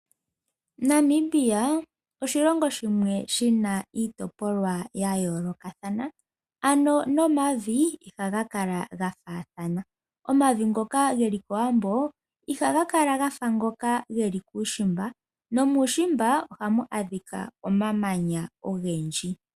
Namibia oshilongo shimwe shina iitopolwa ya yoolokathana, nomavi ihaga kala ga faathana, omavi ngoka geli kowambo ihaga kala gafa ngoka geli kuushimba, nomuushimba ohamu adhika omamanya ogendji.